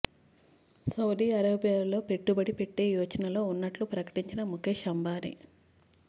Saudi అరేబియాలో పెట్టుబడి పెట్టే యోచనలో ఉన్నట్టు ప్రకటించిన ముకేశ్ అంబానీ